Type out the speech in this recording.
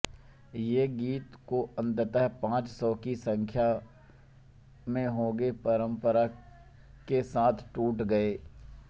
ये गीत जो अंततः पाँच सौ की संख्या में होंगे परंपरा के साथ टूट गए